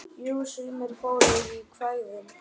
Jú, sumir fóru í kvæðin.